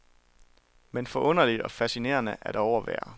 Men forunderligt og fascinerende at overvære.